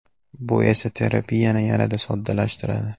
Bu esa terapiyani yanada soddalashtiradi.